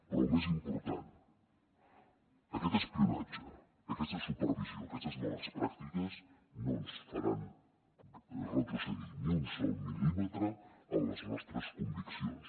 però el més important aquest espionatge aquesta supervisió aquestes males pràctiques no ens faran retrocedir ni un sol mil·límetre en les nostres conviccions